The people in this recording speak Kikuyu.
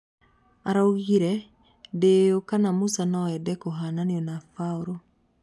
Araugire, "Ndiũĩ kana Musa noende kũhananio na Baũrũ"